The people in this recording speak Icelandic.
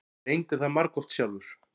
Ég reyndi það margoft sjálfur.